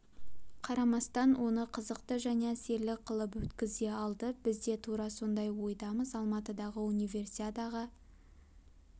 қарамастан оны қызықты және әсерлі қылып өткізе алды біз де тура сондай ойдамыз алматыдағы универсиадаға